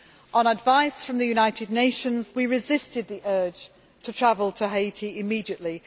On advice from the United Nations, we resisted the urge to travel to Haiti immediately.